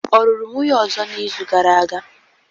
Ọ lụrụ nwunye ọzọ n'izu gara aga?